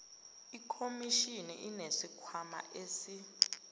ikhomishini inesikhwama esi